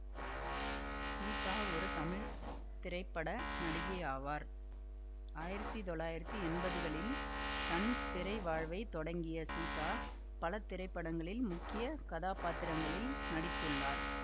சீதா ஒரு தமிழ் திரைப்பட நடிகையாவார் ஆயிரத்தி தொள்ளாயிரத்தி எம்பதுகளில் தன் திரை வாழ்வை தொடங்கிய சீதா பல திரைப்படங்களில் முக்கிய கதாப்பாத்திரங்களில் நடித்துள்ளார்